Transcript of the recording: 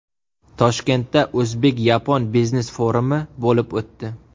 Toshkentda o‘zbek-yapon biznes-forumi bo‘lib o‘tdi.